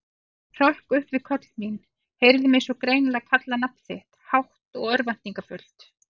Hrökk upp við köll mín, heyrði mig svo greinilega kalla nafn þitt, hátt og örvæntingarfullt.